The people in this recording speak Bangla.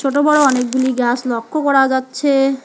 বড় বড় অনেকগুলি গাস লক্ষ করা যাচ্ছে।